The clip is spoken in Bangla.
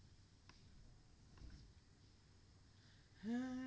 হ্যাঁ